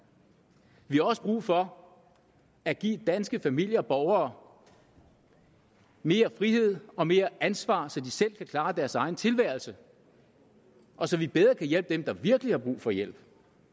vi har også brug for at give danske familier danske borgere mere frihed og mere ansvar så de selv kan klare deres egen tilværelse og så vi bedre kan hjælpe dem der virkelig har brug for hjælp